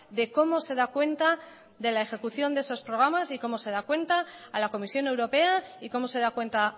de cómo se da cuenta de la ejecución de esos programas y cómo se da cuenta a la comisión europea y cómo se da cuenta